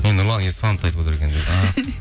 мен нұрлан еспановты айтып отыр екен